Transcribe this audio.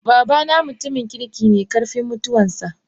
Babana mutumin kirki ne karfin mutuwar sa.